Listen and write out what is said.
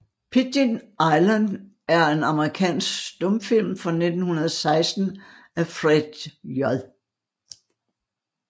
Pidgin Island er en amerikansk stumfilm fra 1916 af Fred J